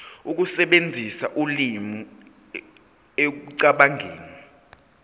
ukusebenzisa ulimi ekucabangeni